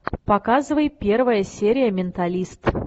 показывай первая серия менталист